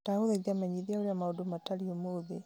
ndagũthaitha menyithia ũrĩa maũndũ matariĩ ũmũthĩ